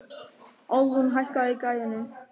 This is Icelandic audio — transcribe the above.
Alrún, hækkaðu í græjunum.